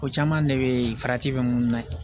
Ko caman de be farati be mun na ye